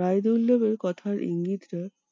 রায়দুল্লার কথার ইঙ্গিতটা